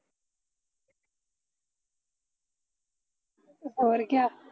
ਹੋਰ ਕਿਆ